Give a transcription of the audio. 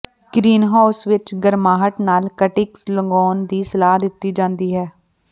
greenhouse ਵਿਚ ਗਰਮਾਹਟ ਨਾਲ ਕਟਿੰਗਜ਼ ਲਗਾਉਣ ਦੀ ਸਲਾਹ ਦਿੱਤੀ ਜਾਂਦੀ ਹੈ